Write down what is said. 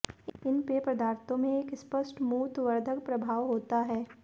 इन पेय पदार्थों में एक स्पष्ट मूत्रवर्धक प्रभाव होता है